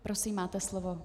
Prosím, máte slovo.